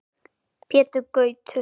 Pétur Gautur.